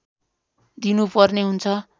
दिनु पर्ने हुन्छ